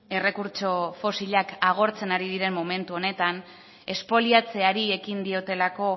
errekurtso fosilak agortzen ari diren momentu honetan espoliatzeari ekin diotelako